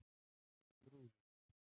Þrúður